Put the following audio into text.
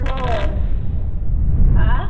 ਹੋਰ ਹਾਂ